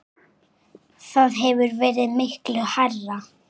Það hefur verið miklu hærra.